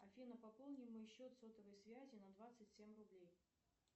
афина пополни мой счет сотовой связи на двадцать семь рублей